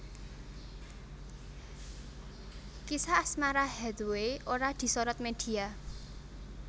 Kisah asmara Hathaway ora disorot media